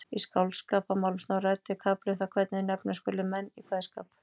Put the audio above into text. Í Skáldskaparmálum Snorra-Eddu er kafli um það hvernig nefna skuli menn í kveðskap.